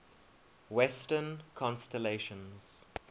western constellations